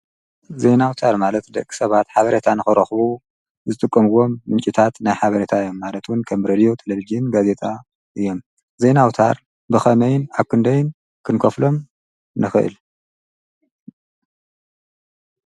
ዘይናውታር ማለት ደቂ ሰባት ሓበረታ ንኸረኽቡ ዝጥቆምዎም ምንጭታት ናይ ሓበረታዮም ማለቱን ከምብረልዮ ተለቢዜን ጋዜታ እየ ዘይናውታር ብኸመይን ኣክንደይን ክንኮፍሎም ነኽእል።